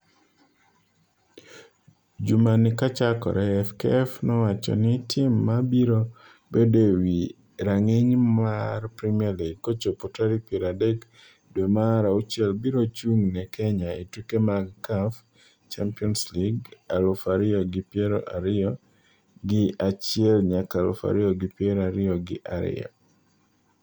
Jumani kachakore, FKF nowacho ni tim ma biro bedo e wi rang'iny mwar Premier League kochopo tarik piero adek dwe mar auchiel biro chung' ne Kenya e tuke mag CAF Champions League aluf ariyo gi piero ariyo gi achiel nyaka aluf ariyo gi piero ariyo gi ariyo.